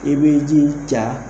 I bɛ ji ca.